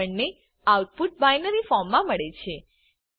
આપણે output binary ફોર્મમા મળે છે